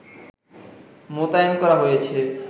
মোতায়েন করা হয়েছে